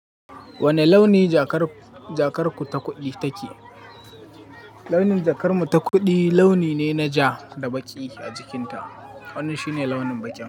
Wane launi jakar-jakarku ta kuɗi take? Launin jakar mu ta kuɗi launi ne na ja da baƙi a jikinta. Wannan shi ne launin baƙi.